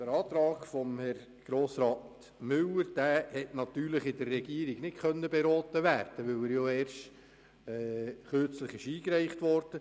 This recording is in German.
Den Antrag von Grossrat Müller konnte in der Regierung nicht beraten werden, da er erst kürzlich eingereicht wurde.